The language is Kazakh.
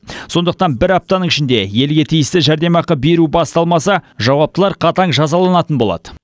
сондықтан бір аптаның ішінде елге тиісті жәрдемақы беру басталмаса жауаптылар қатаң жазаланатын болады